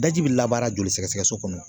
Daji bi labaara joli sɛgɛsɛgɛ so kɔnɔ